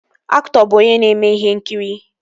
Aktọ bụ onye na-eme ihe nkiri